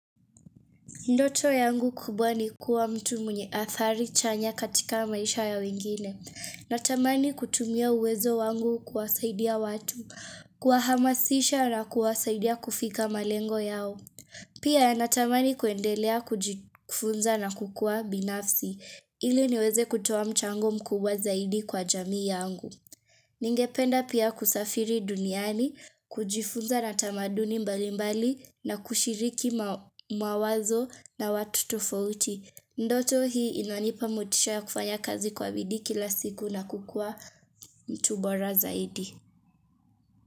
Ndoto yangu kubwa ni kuwa mtu mwenye adhari chanya katika maisha ya wengine. Natamani kutumia uwezo wangu kuwasaidia watu. Kuwa hamasisha na kuwasaidia kufika malengo yao. Pia natamani kuendelea kujifunza na kukua binafsi. Ili niweze kutoa mchango mkubwa zaidi kwa jamii yangu. Ningependa pia kusafiri duniani, kujifunza natamaduni mbali mbali na kushiriki mawazo na watu tufauti Ndoto hii inanipa motisha kufanya kazi kwa bidii kila siku na kukua mtubora zaidi.